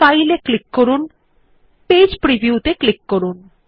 file এর ওপর click করুন এবং পেজ প্রিভিউ ক্লিক করুন